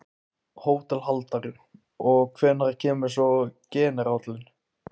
HÓTELHALDARI: Og hvenær kemur svo generállinn?